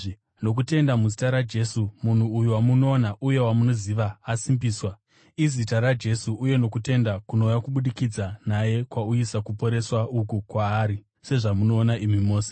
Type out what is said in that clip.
Nokutenda muzita raJesu, munhu uyu wamunoona uye wamunoziva, asimbiswa. Izita raJesu uye nokutenda kunouya kubudikidza naye kwauyisa kuporeswa uku kwaari, sezvamunoona imi mose.